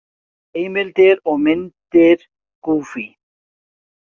Heimildir og myndir Goofy.